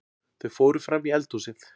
Þau fóru frammí eldhúsið.